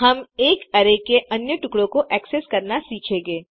हम एक अरै के अन्य टुकड़ों को एक्सेस करना सीखेंगे